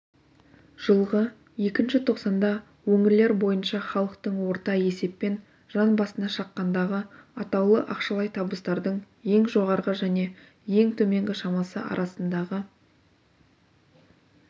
жылғы іі тоқсанда өңірлер бойынша халықтың орта есеппен жан басына шаққандағы атаулы ақшалай табыстардың ең жоғарғы және ең төменгі шамасы арасындағы